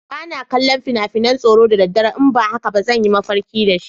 Ba na kallon fina-finan tsoro da daddare, in ba haka ba zan yi mafarki da shi.